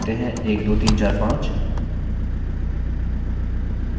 चलिए लिखते हैं 1 2 3 4 5